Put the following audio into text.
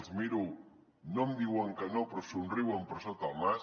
els miro no em diuen que no però somriuen per sota el nas